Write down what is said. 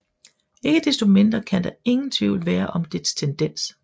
Ikke desto mindre kan der ingen Tvivl være om dets Tendens